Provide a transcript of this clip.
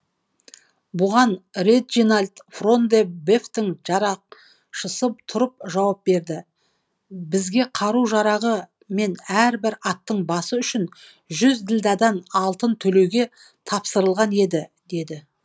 бұған реджинальд фрон де бефтің жарақшысы тұрып жауап берді бізге қару жарағы мен әрбір аттың басы үшін жүз ділдадан алтын төлеуге тапсырылған еді деді